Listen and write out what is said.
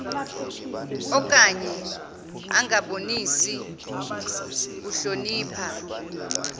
okanye angabonisi kuhlonipha